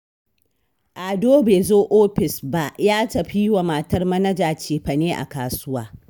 Ado bai zo ofis ba, ya tafi yi wa matar Manaja cefane a kasuwa